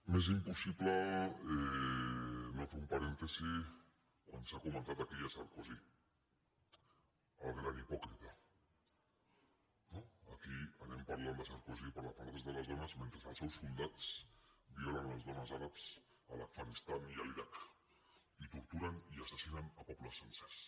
m’és impossible no fer un parèntesi quan s’ha comentat aquí sarkozy el gran hipòcrita no aquí anem parlant de sarkozy per defensar els drets de les dones mentre els seus soldats violen les dones àrabs a l’afganistan i a l’iraq i torturen i assassinen pobles sencers